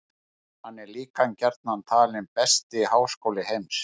Hann er líka gjarnan talinn besti háskóli heims.